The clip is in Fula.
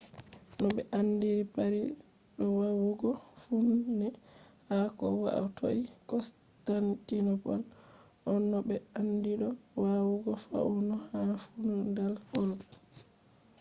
no ɓe andiri paris do wawugo faune ha ko hatoi constantinople on no ɓe andi do wawugo faune ha feudal europe